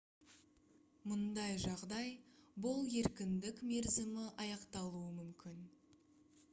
мұндай жағдай бұл еркіндік мерзімі аяқталуы мүмкін